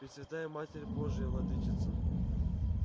пресвятая матерь божия владычица